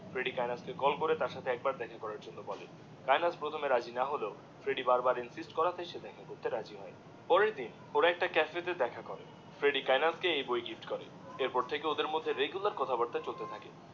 Freddie Kainat কে কে করে একবার দেখা করার জন্যে বলে, কায়েতনাথ প্রথমে রাজি না হলেও ফ্রেড্ডি বারবার ইনসিস্ট করাতে, সে দেখা করাতে রাজি হয়ে যায়. পরের দিনওরা একটা কাফে তে দেখা করে ফ্রেডি কায়েনাথ কে এই গিফট করে এর পর ওদের মধ্যে রেগুলার কথা বার্তা চলত থাকে